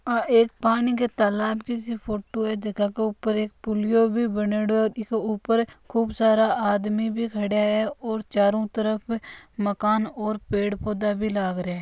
यह एक पानी के तालाब की फोटो जके के ऊपर एक पुलियो बनेडो है इ के ऊपर खूब सारा आदमी भी खड़ा है और चारो तरफ मकान और पेड़ पौधा भी लाग रहा है है।